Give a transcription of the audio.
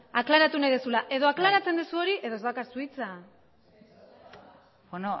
aklaratu nahi duzula edo aklaratzen duzu hori edo ez daukazu hitza beno